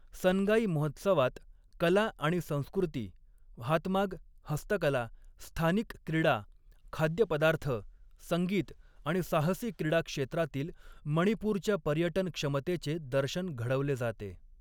सन्गाई महोत्सवात कला आणि संस्कृती, हातमाग, हस्तकला, स्थानिक क्रीडा, खाद्यपदार्थ, संगीत आणि साहसी क्रीडा क्षेत्रातील मणिपूरच्या पर्यटन क्षमतेचे दर्शन घडवले जाते.